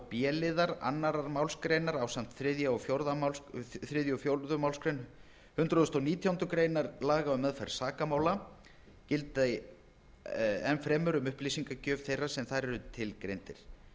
b liðar annarrar málsgreinar ásamt þriðja og fjórðu málsgrein hundrað og nítjánda grein laga um meðferð sakamála gilda enn fremur um upplýsingagjöf þeirra sem þar eru tilgreindir